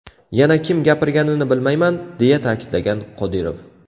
Yana kim gapirganini bilmayman, deya ta’kidlagan Qodirov.